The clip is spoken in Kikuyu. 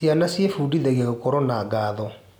Ciana ciebundithagia gũkorwo na ngatho.